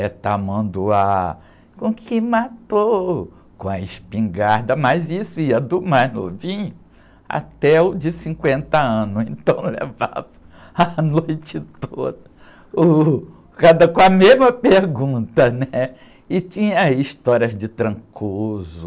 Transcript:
é tamanduá, com o que matou, com a espingarda, mas isso ia do mais novinho até o de cinquenta anos, então levava a noite toda, uh, cada, com a mesma pergunta, e tinha histórias de,